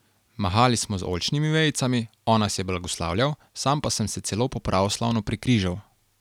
Mahali smo z oljčnimi vejicami, on nas je blagoslavljal, sam pa sem se celo po pravoslavno prekrižal.